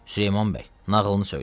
Süleyman bəy, nağılını söylə.